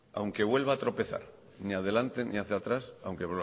aunque vuelva a tropezar ni adelante ni hacia atrás aunque